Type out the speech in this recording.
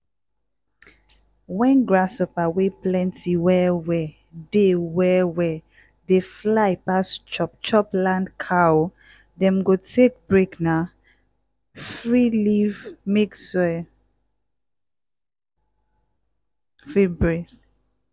wen grasshopper wey plenty well-well dey well-well dey fly pass chop-chop land cow dem go take break na free leave mek soil fit breathe.